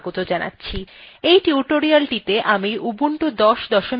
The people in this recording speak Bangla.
আমি এই টিউটোরিয়ালটিতে ubuntu ১০ ০৪ ব্যবহার করছি